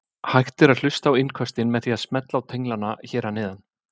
Hægt er að hlusta á innköstin með því að smella á tenglana hér að neðan.